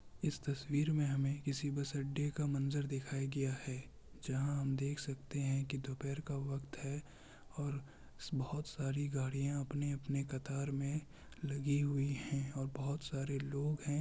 इस तस्वीर में हमे किसी बस अड्डे का मंजर दिखाया गया है जहां हम देख सकते है की दोपहर का वक्त है और बहुत सारी गाड़िया अपने-अपने कतार में लगी हुई है और बोहत सारे लोग है।